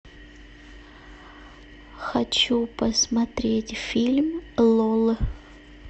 хочу посмотреть фильм лол